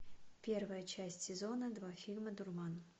первая часть сезона два фильма дурман